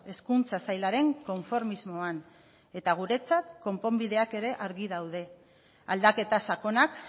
hezkuntza sailaren konformismoan eta guretzat konponbideak ere argi daude aldaketa sakonak